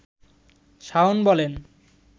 শাওন বলেন